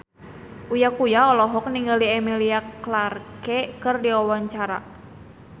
Uya Kuya olohok ningali Emilia Clarke keur diwawancara